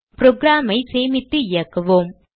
program ஐ சேமித்து இயக்குவோம்